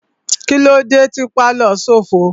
Kílódé tí pálọ̀ òún ṣófo?